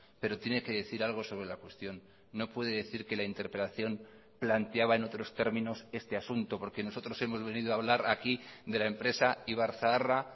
pero tiene que decir algo sobre la cuestión no puede decir que la interpelación planteaba en otros términos este asunto porque nosotros hemos venido a hablar aquí de la empresa ibarzaharra